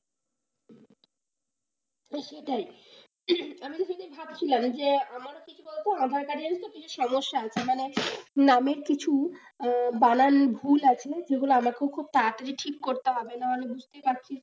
সেটাই, আমিও তো সেটাই ভাবছিলাম আমারও কি কি বলতো aadhaar card এ সমস্যা আছে মানে নামের কিছু বানান ভুল আছে যেগুলো আমার খুব খুব তাড়াতাড়ি ঠিক করতে হবে না হলে বুঝতেই পারছিস,